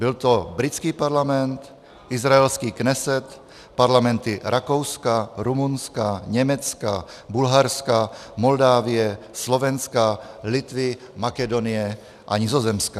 Byl to britský parlament, izraelský Knesset, parlamenty Rakouska, Rumunska, Německa, Bulharska, Moldávie, Slovenska, Litvy, Makedonie a Nizozemska.